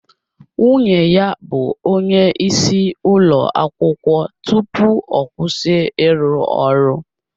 Nwunye ya bụ onye nkụzi ụlọ akwụkwọ tupu ọ kwụsị ịrụ ọrụ